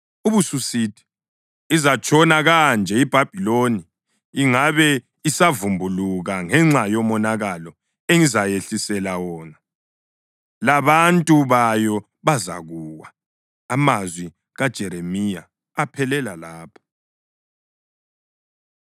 ubususithi, ‘Izatshona kanje iBhabhiloni ingabe isavumbuluka ngenxa yomonakalo engizayehlisela wona. Labantu bayo bazakuwa.’ ” Amazwi kaJeremiya aphelela lapha.